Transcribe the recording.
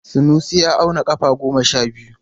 Sanusi ya auna kafa goma sha biyu.